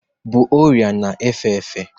bụ ọria na efe efe.